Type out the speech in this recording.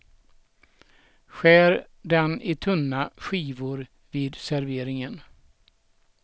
Skär den i tunna skivor vid serveringen.